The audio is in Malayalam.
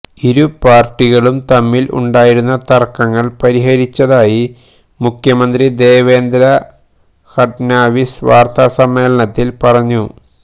ഇരു പാര്ട്ടികളും തമ്മില് ഉണ്ടായിരുന്ന തര്ക്കങ്ങള് പരിഹരിച്ചതായി മുഖ്യമന്ത്രി ദേവേന്ദ്ര ഫഡ്നാവിസ് വാര്ത്തസമ്മേളനത്തില് പറഞ്ഞു